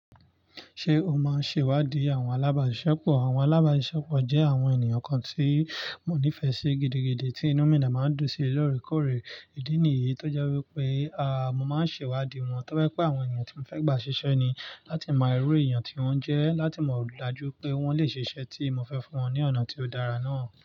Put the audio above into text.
Ṣé o máa ń ṣe ìwádìí àwọn alábàáṣisẹ́pọ̀? Àwọn alábàáṣepọ̀ jẹ́ àwọn ènìyàn kan tí mo nífẹ̀ẹ́ sí gidigidi tí inú mi dẹ́ máa ń dùn síi lọ́ọ̀rẹ́ kọ́ọ̀rẹ́. Ìdí nìyí tó jẹ́ wípé, a, mo máa ń ṣe ìwádìí wọn toba jẹ̀pé àwọn ènìyàn tí mo fẹ́ gbà ṣiṣẹ́ ni. Láti mo iru èèyàn tí wọ́n jẹ́, láti mọ̀ dájú pé wọ́n lè ṣiṣẹ́ tí mo fẹ́ fún wọn ní ọ̀nà tí ó dára náà.